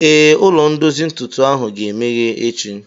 Ee, ụlọ ndozi ntụtụ ahụ ga-emeghe echi